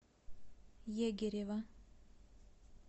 егирева